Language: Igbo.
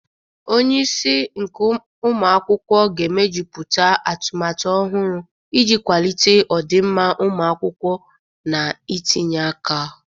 Onye isi nke ụmụ akwụkwọ ga-emejuputa atumatu ọhụrụ iji kwalite ọdịmma ụmụ akwụkwọ na itinye aka.